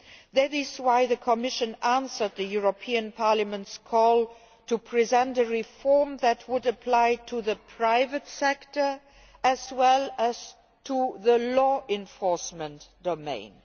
That is why the Commission answered the European Parliament's call to present a reform that would apply to the private sector as well as to the law enforcement domain.